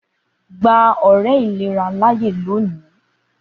Gba àwọn ọrẹ ni ilera lòní!